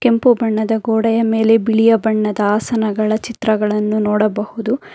ಕೆಂಪು ಬಣ್ಣದ ಗೋಡೆಯ ಮೇಲೆ ಬಿಳಿಯ ಬಣ್ಣದ ಆಸನಗಳ ಚಿತ್ರಗಳನ್ನು ನೋಡಬಹುದು.